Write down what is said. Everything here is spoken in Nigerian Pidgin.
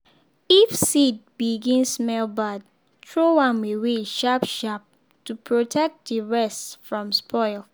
if seed begin smell bad throw am away sharp-sharp to protect the rest from spoil.